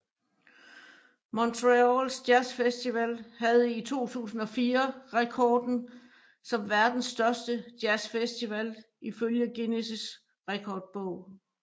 Montreals Jazz Festival havde i 2004 rekorden som verdens største jazz festival ifølge Guinness Rekordbog